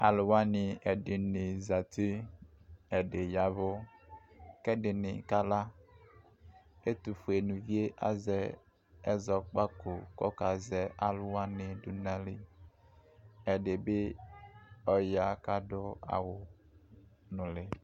Alʋ wani ɛdini zati kʋ ɛdini ya ɛvʋ kʋ ɛdɩnɩ kala kʋ ɛtʋ nivue azɛ ɛzɔkpako kʋ akazɛ alʋ wani dʋnʋ ayili ɛdɩbɩ ya kʋ adʋ awʋ nʋli